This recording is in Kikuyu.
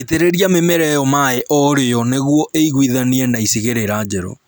Itĩrĩria mĩmera ĩyo maĩĩ o rĩo nĩguo ĩiguithanie na icigĩrĩra njerũ